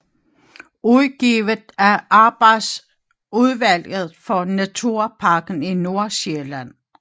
Udgivet af arbejdsudvalget for Naturparken i Nordsjælland